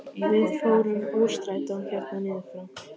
Við fórum úr strætó hérna niður frá!